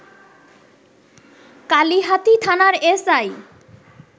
কালিহাতী থানার এসআই